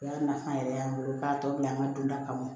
O y'a nafa yɛrɛ y'an bolo k'a tɔ bila an ka don da kama